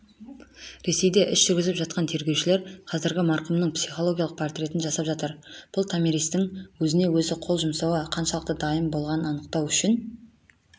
ресейде іс жүргізіп жатқан тергеушілер қазір марқұмның психологиялық портретін жасап жатыр бұл томиристің өз-өзіне қол жұмауға қаншалықты дайын болғанын анықтау үшін